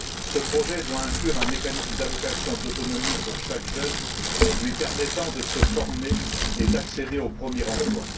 Ce projet doit inclure un mécanisme d'allocation d'autonomie pour chaque jeune lui permettant de se former et d'accéder au premier emploi.